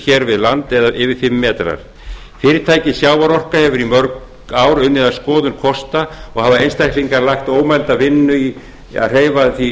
hér við land yfir fimm metrar fyrirtækið sjávarorka hefur í mörg ár unnið að skoðun kosta og hafa einstaklingar lagt ómælda vinnu í að hreyfa því